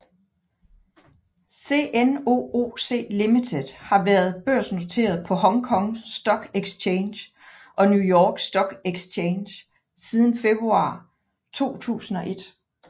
CNOOC Limited har været børsnoteret på Hong Kong Stock Exchange og New York Stock Exchange siden februar 2001